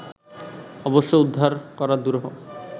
অবশ্য উদ্ধার করা দুরূহ